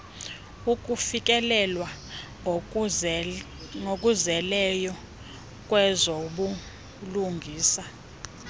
ukufikelelwa ngokuzeleyo kwezobulungisa